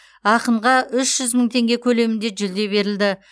ақынға үш жүз мың теңге көлемінде жүлде берілді